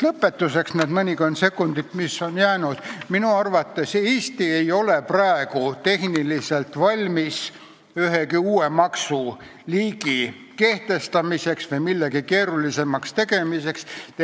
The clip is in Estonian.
Lõpetuseks ütlen nende mõnekümne sekundi jooksul, mis on jäänud, et minu arvates ei ole Eesti praegu tehniliselt valmis ühegi uue maksuliigi kehtestamiseks või millegi keerulisemaks tegemiseks.